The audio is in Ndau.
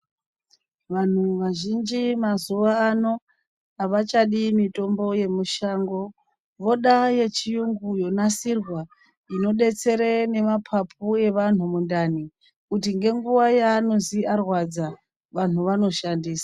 Vanhu vazhinji mazuva ano avachadi mitombo ye mushango voda ye chiyungu yonasirwa ino detsere ne mapapu evanhu mundani kuti nge nguva ya anozi arwadza vanhu vano shandisa.